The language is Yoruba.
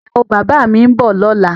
Ìyàwó bàbá mi ń bọ̀ lọ́la